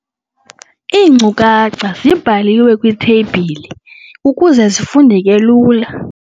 Iinkcukacha zibhalwe kwitheyibhile ukuze zifundeke lula.